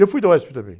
Eu fui da uéspi também.